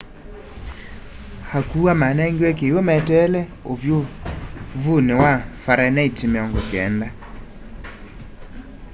akuwa manengiwe kiw'u meteele uvyuvuni wa farenheit 90